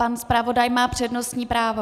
Pan zpravodaj má přednostní právo.